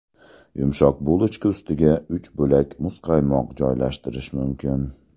Yumshoq bulochka ustiga uch bo‘lak muzqaymoq joylashtirish mumkin.